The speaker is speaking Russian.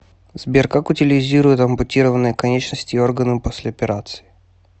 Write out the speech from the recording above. сбер как утилизируют ампутированные конечности и органы после операции